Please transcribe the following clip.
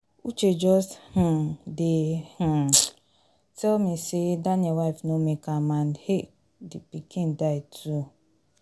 uche just um dey um tell me say daniel wife no make am and um the pikin die too